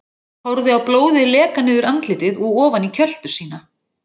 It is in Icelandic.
Horfa á blóðið leka niður andlitið og ofan í kjöltu sína.